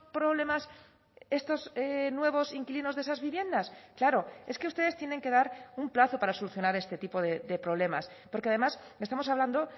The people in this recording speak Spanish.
problemas estos nuevos inquilinos de esas viviendas claro es que ustedes tienen que dar un plazo para solucionar este tipo de problemas porque además estamos hablando